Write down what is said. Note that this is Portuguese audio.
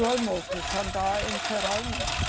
Do almoço, jantar em geral não.